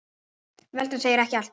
Veltan segir ekki allt.